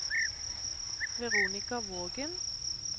Veronica Vågen